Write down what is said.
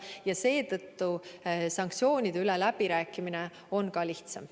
Ja seetõttu sanktsioonide üle läbirääkimine on ka lihtsam.